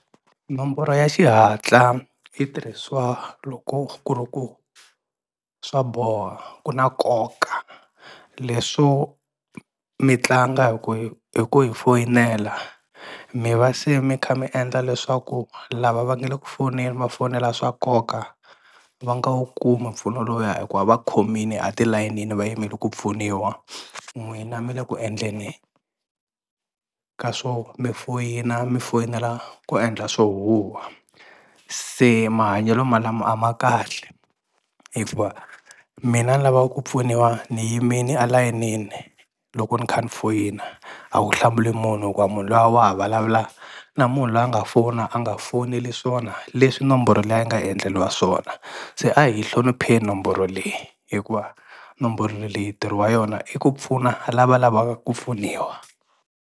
Nomboro ya xihatla yi tirhiswa loko ku ri ku swa boha ku na koka, leswo mi tlanga hi ku hi hi ku hi foyinela mi va se mi kha mi endla leswaku lava va nga le ku foneni ma fonela swa nkoka va nga wu kumi mpfuno lowuya hikuva va khomini atilayenini va yimele ku pfuniwa n'wina mi le ku endleni ka swo mi foyina mi foyinela ku endla swo huhwa, se mahanyelo ma lama a ma kahle hikuva mina ni lavaku ku pfuniwa ni yimile alayinini loko ni kha ni foyina a wu hlamuli munhu hikuva munhu luya wa ha vulavula na munhu loyi a nga fona a nga funeli swona leswi nomboro liya yi nga endleriwa swona, se a hi yi hlonipheni nomboro leyi hikuva nomboro leyi ntirho wa yona i ku pfuna lava lavaka ku pfuniwa.